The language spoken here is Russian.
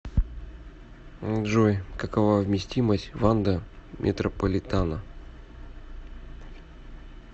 джой какова вместимость ванда метрополитано